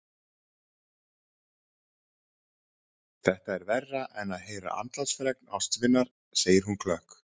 Þetta er verra en að heyra andlátsfregn ástvinar, segir hún klökk.